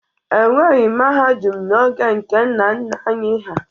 E nweghi mahadum n'oge nke nna nna anyị ha.